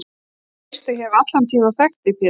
Og nú veistu að ég hef allan tímann þekkt þig Pétur.